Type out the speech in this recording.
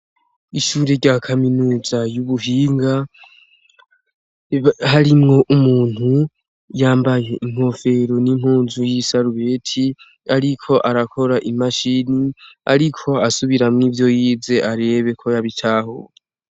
Ishuri rya kaminuza y'ubuhinga, harimwo umuntu yambaye inkofero n'impunzu y'isarubeti, ariko arakora imashini; ariko asubiramwo ivyo yize arebe ko yabitahuye.